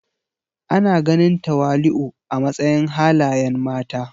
Ana ganin tawali'u a matsayin halayen mata.